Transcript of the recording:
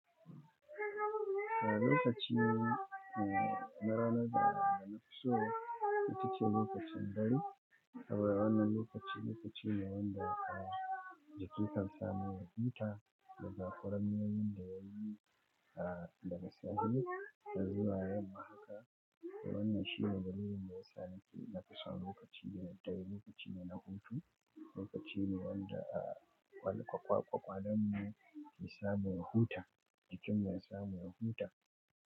A lokaci na rana da na fiso, ita ce lokacin dare. Haba ranan lokaci, lokaci ne wanda a jiki kan samu ya huta, daga kwaramniyar da yayi daga safe, har zuwa yamma haka. Wannan shine dalilin da yasa nafi son lokaci na dare, lokaci ne na hutu. Lokaci ne wanda a kwal kwalkwalemu ke samun ya huta, jikin mu ya samu ya huta.